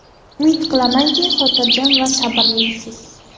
Umid qilamanki, xotirjam va sabrlisiz.